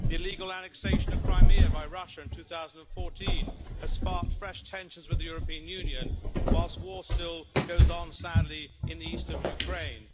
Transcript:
The illegal annexation of Crimea by Russia in 2014 has sparked fresh tensions with the European Union, whilst war still goes on, sadly, in the east of Ukraine.